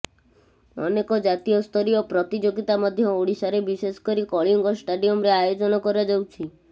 ଅନେକ ଜାତୀୟସ୍ତରୀୟ ପ୍ରତିଯୋଗିତା ମଧ୍ୟ ଓଡ଼ିଶାରେ ବିଶେଷକରି କଳିଙ୍ଗ ଷ୍ଟାଡିୟମ୍ରେ ଆୟୋଜନ କରାଯାଉଛି